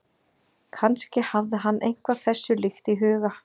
Kannski hafði hann eitthvað þessu líkt í huga.